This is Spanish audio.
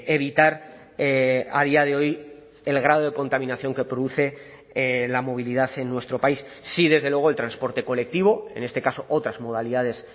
evitar a día de hoy el grado de contaminación que produce la movilidad en nuestro país sí desde luego el transporte colectivo en este caso otras modalidades